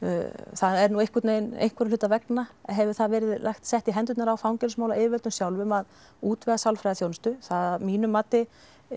það er einhverra hluta vegna hefur það verið sett í hendurnar á fangelsismálayfirvöldum sjálfum að útvega sálfræðiþjónustu að mínu mati